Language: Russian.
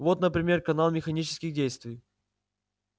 вот например канал механических действий